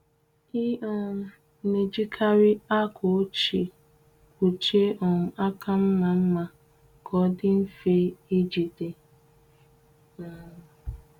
Ị um na-ejikarị akwa ochie kpuchie um aka mma mma ka ọ dị mfe ịjide. um